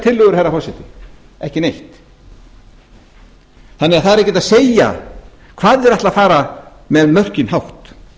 tillögur herra forseti ekki neitt það er því ekki hægt að segja hvað þeir ætla að fara með mörkin hátt